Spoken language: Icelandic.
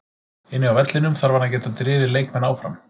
Inni á vellinum þarf hann að geta drifið leikmenn áfram.